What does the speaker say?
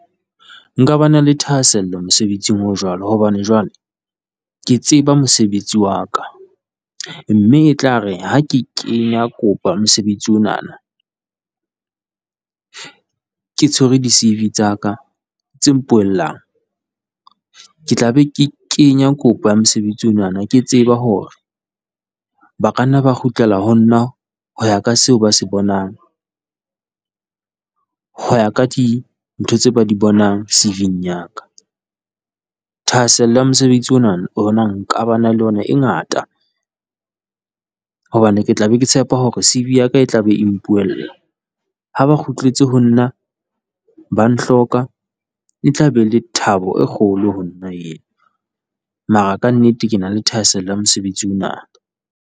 Nkaba le thahasello mosebetsing o jwalo wa hobane jwale, ke tseba mosebetsi wa ka mme e tlare ha ke kenya kopa mosebetsi onana, ke tshwere di-CV tsa ka tse mpuellang, ke tla be ke kenya kopo ya mosebetsi ona ke tseba hore ba ka nna ba kgutlela ho nna ho ya ka seo ba se bonang, ho ya ka dintho tseo ba di bonang CV-ng ya ka. Thahasello ya mosebetsi ona ho nna nka ba le yona e ngata hobane ke tla be ke tshepa hore CV ya ka e tlabe e mpuella. Ha ba kgutletse ho nna ba ntlhoka e tlabe e le thabo e kgolo ho nna eo, mara ka nnete ke na le thahasello ya mosebetsi ona.